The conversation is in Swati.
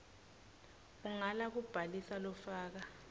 ungala kubhalisa lofaka